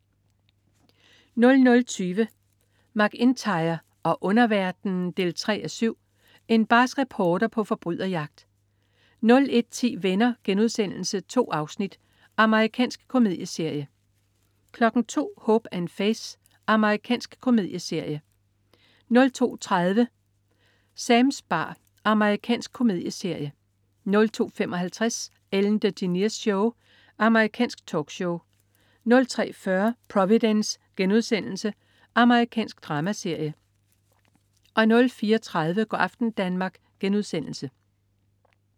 00.20 MacIntyre og underverdenen 3:7. En barsk reporter på forbryderjagt 01.10 Venner.* 2 afsnit. Amerikansk komedieserie 02.00 Hope & Faith.* Amerikansk komedieserie 02.30 Sams bar. Amerikansk komedieserie 02.55 Ellen DeGeneres Show. Amerikansk talkshow 03.40 Providence.* Amerikansk dramaserie 04.30 Go' aften Danmark*